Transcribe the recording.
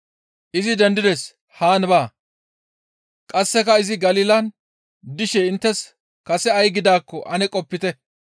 Izi dendides! Haan baa. Qasseka izi Galilan dishe inttes kase ay gidaakko ane qopite.